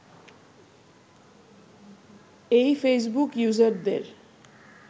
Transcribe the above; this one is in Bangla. এই ফেসবুক ইউজারদের